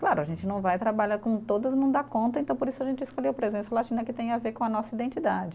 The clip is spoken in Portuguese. Claro, a gente não vai trabalhar com todas, não dá conta, então por isso a gente escolheu presença latina que tem a ver com a nossa identidade.